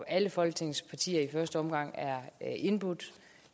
alle folketingets partier i første omgang er indbudt